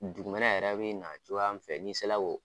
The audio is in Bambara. Dugu wɛrɛ yɛrɛ bɛ na cogo an fɛ ni se la o.